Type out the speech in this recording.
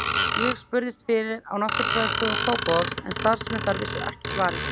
Ég spurðist fyrir á Náttúrufræðistofu Kópavogs en starfsmenn þar vissu ekki svarið.